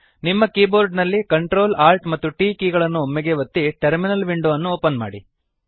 ನಿಮ್ಮ ಕೀಬೋರ್ಡ ನಲ್ಲಿ Ctrl Alt ಮತ್ತು T ಕೀ ಗಳನ್ನು ಒಮ್ಮೆಗೇ ಒತ್ತಿ ಟರ್ಮಿನಲ್ ವಿಂಡೊ ಅನ್ನು ಓಪನ್ ಮಾಡಿ